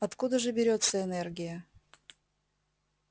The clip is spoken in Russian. откуда же берётся энергия